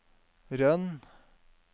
Røn